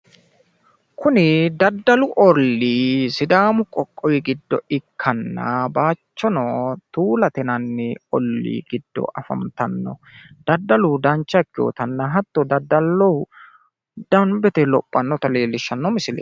Kuni daddalu ollii sidaamu qoqqowi giddo ikkanna, baayichono tuulate yinanni ollii giddo afantanno. Daddalu dancha ikkinotanna hatto daddalinoha danbete lophannota lellishshanno misileeti.